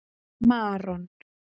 Maron